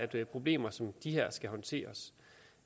der at problemer som de her skal håndteres